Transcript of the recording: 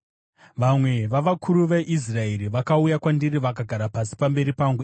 Vamwe vavakuru veIsraeri vakauya kwandiri vakagara pasi pamberi pangu.